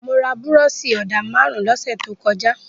Mo ra búrọ́ṣì-ọ̀dà márùn-ún lọ́sẹ̀ tó kọjá.